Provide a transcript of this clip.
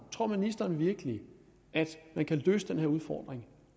tror ministeren virkelig at man kan løse den her udfordring